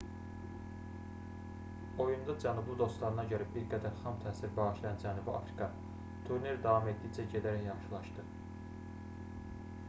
oyunda cənublu dostlarına görə bir qədər xam təsir bağışlayan cənubi afrika turnir davam etdikcə gedərək yaxşılaşdı